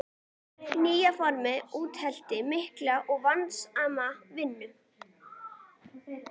Þetta nýja form útheimti mikla og vandasama vinnu.